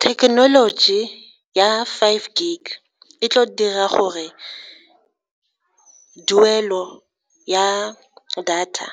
Thekenoloji ya five gig e tlo dira gore ya data